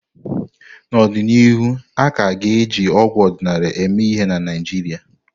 N'ọdịnihu, a ka ga-eji ọgwụ ọdịnala eme ihe na Naijiria.